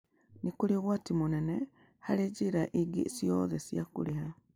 Nĩ kũrĩ ũgwati mũnene harĩ njĩra ingĩ ciothe cia kũrĩha.